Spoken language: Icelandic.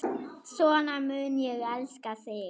Svona mun ég elska þig.